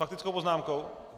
Faktickou poznámkou?